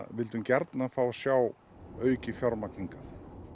vildum gjarnan fá að sjá aukið fjármagn hingað